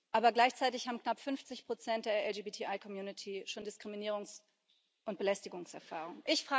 Aber gleichzeitig haben knapp 50 der LGBTI Community schon Diskriminierungs und Belästigungserfahrungen.